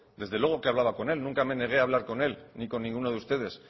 desde luego que hablaba con él nunca me negué a hablar con él ni con ninguno de ustedes